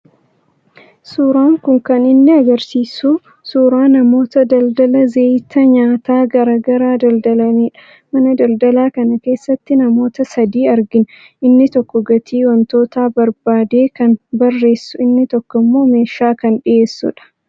Suuraan kun kan inni argisiisu suuraa namoota daldala zayita nyaataa garaa garaa daldalanidha. Mana daldalaa kana keessatti namoota sadii argina. Inni tokko gatii wantootaa barbaadee kan barreessu, inni tokko immoo meeshaa kan dhiyeessudha.